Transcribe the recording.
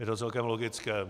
Je to celkem logické.